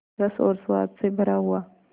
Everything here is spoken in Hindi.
रस और स्वाद से भरा हुआ